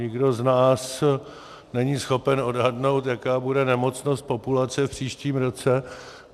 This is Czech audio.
Nikdo z nás není schopen odhadnout, jaká bude nemocnost populace v příštím roce.